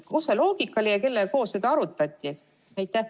Milline see loogika oli ja kellega seda arutati?